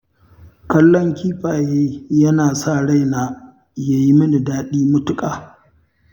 Kallon kifaye yana sa raina ya yi min daɗi matuƙa